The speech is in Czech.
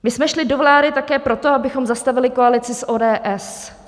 My jsme šli do vlády také proto, abychom zastavili koalici s ODS.